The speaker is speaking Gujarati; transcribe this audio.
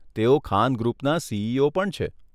તેઓ ખાન ગ્રુપના સીઈઓ પણ છે.